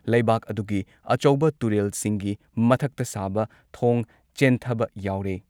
ꯂꯩꯕꯥꯛ ꯑꯗꯨꯨꯒꯤ ꯑꯆꯧꯕ ꯇꯨꯔꯦꯜꯁꯤꯡꯒꯤ ꯃꯊꯛꯇ ꯁꯥꯕ ꯊꯣꯡ ꯆꯦꯟꯊꯕ ꯌꯥꯎꯔꯦ ꯫